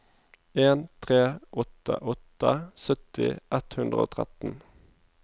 en tre åtte åtte sytti ett hundre og tretten